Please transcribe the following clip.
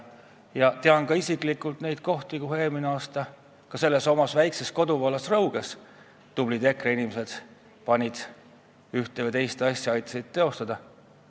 Ma tean ka isiklikult seda, kuidas minu väikses kodukohas Rõuges tublid EKRE inimesed ühte või teist asja aitasid teostada.